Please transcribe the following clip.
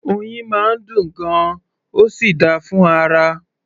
Oyin máa ń dùn gan-an, ó sì dáa fún ara